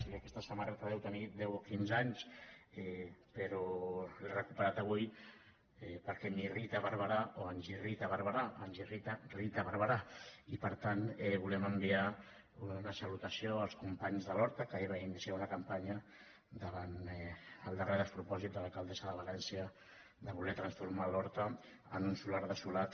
i aquesta samarreta deu tenir deu o quinze anys però l’he recuperat avui perquè m’irrita barberá o ens irrita barberá ens irrita rita barberá i per tant volem enviar una salutació als companys de l’horta que ahir van iniciar una campanya davant el darrer despropòsit de l’alcaldessa de valència de voler transformar l’horta en un solar desolat